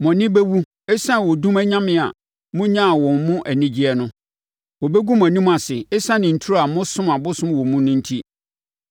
“Mo ani bɛwu ɛsiane odum anyame a monyaa wɔn mu anigyeɛ no; wɔbɛgu mo anim ase ɛsiane nturo a mosom abosom wɔ mu no enti.